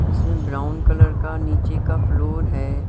इसमें brown colour का नीचे का फ्लोर है।